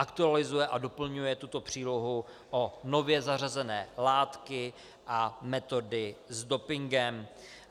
Aktualizuje a doplňuje tuto přílohu o nově zařazené látky a metody s dopingem.